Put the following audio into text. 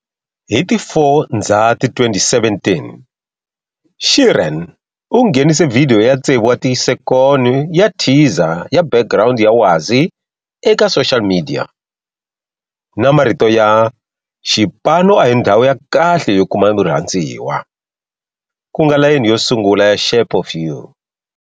Hi ti 4 Ndzhati 2017, Sheeran u nghenise vhidiyo ya tsevu wa tisekoni ya teaser ya background ya wasi eka social media, na marito ya"xipano a hi ndhawu ya kahle yo kuma murhandziwa", ku nga layini yo sungula ya"Shape of You".